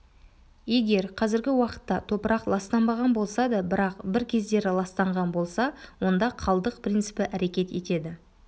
егер қазіргі уақытта топырақ ластанбаған болса да бірақ бір кездері ластанған болса онда қалдық принципі әрекет етеді